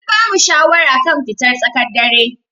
An bamu shawara kan fitar tsakar dare.